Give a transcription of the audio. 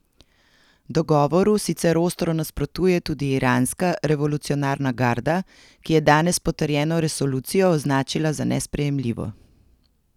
Dogovoru sicer ostro nasprotuje tudi Iranska revolucionarna garda, ki je danes potrjeno resolucijo označila za nesprejemljivo.